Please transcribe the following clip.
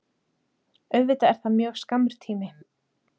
Auðvitað er það mjög skammur tími